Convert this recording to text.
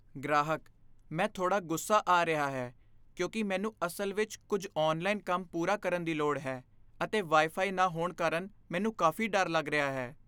ਗ੍ਰਾਹਕ, "ਮੈਂ ਥੋੜਾ ਗੁੱਸਾ ਆ ਰਿਹਾ ਹੈ ਕਿਉਂਕਿ ਮੈਨੂੰ ਅਸਲ ਵਿੱਚ ਕੁੱਝ ਔਨਲਾਈਨ ਕੰਮ ਪੂਰਾ ਕਰਨ ਦੀ ਲੋੜ ਹੈ, ਅਤੇ ਵਾਈ ਫ਼ਾਈ ਨਾ ਹੋਣ ਕਾਰਨ ਮੈਨੂੰ ਕਾਫ਼ੀ ਡਰ ਲੱਗ ਰਿਹਾ ਹੈ"